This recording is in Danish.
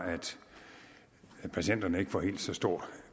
at patienterne ikke får helt så stor